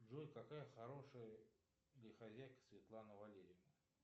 джой какая хорошая ли хозяйка светлана валерьевна